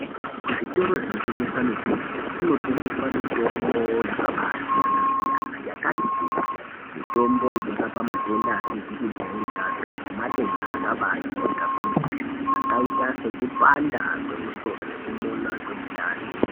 Kuzvitoro zvinotengesa mitombo kunotengeswa mitombo yakabasiyana-siyana yakati kuti mitombo inorapa matenda asizi kujairikapi nematenda akabajairika kwemene akaita sekupanda kwemusoro nekumona kwemundani.